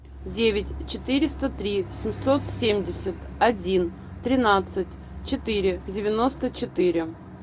девять четыреста три семьсот семьдесят один тринадцать четыре девяносто четыре